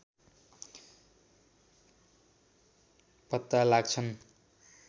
पत्ता लाग्छन्